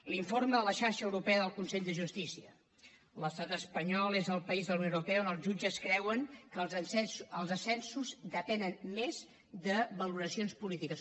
l’informe de la xarxa europea de consells de justícia l’estat espanyol és el país de la unió europea on els jutges creuen que els ascensos depenen més de valoracions polítiques